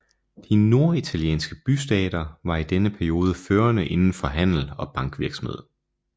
De norditalienske bystater var i denne periode førende inden for handel og bankvirksomhed